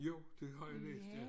Jo det har jeg læst